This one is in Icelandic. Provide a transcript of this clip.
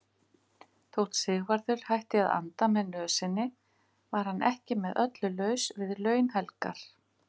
Þótt Sigvarður hætti að anda með nösinni var hann ekki með öllu laus við launhelgar.